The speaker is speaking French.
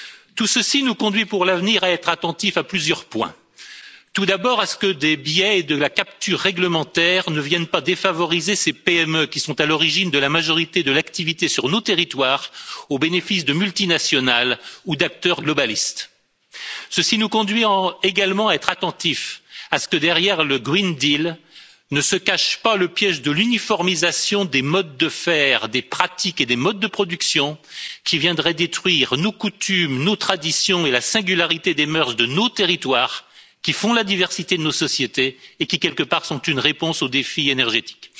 Tout ceci nous conduit pour l'avenir à être attentifs à plusieurs points, et tout d'abord, à ce que des biais de la capture réglementaire ne viennent pas défavoriser ces PME qui sont à l'origine de la majorité de l'activité sur nos territoires, au bénéfice de multinationales ou d'acteurs globalistes. Ceci nous conduit également à être attentifs à ce que derrière le pacte vert pour l'Europe ne se cache pas le piège de l'uniformisation des modes de faire, des pratiques et des modes de production, qui viendrait détruire nos coutumes, nos traditions et la singularité des mœurs de nos territoires, qui font la diversité de nos sociétés et qui, quelque part, sont une réponse aux défis énergétiques.